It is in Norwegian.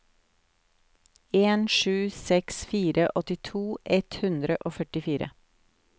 en sju seks fire åttito ett hundre og førtifire